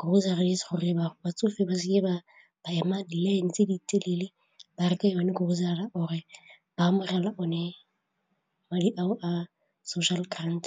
groceries gore ba batsofe ba seke ba ba ema line tse di telele ba reka yone grocer-ra or-re ba amogela one madi ao a social grant.